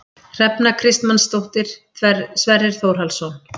Hrefna Kristmannsdóttir, Sverrir Þórhallsson